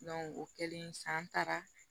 o kɛlen sisan an taara